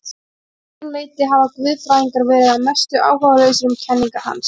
Að öðru leyti hafa guðfræðingar verið að mestu áhugalausir um kenningar hans.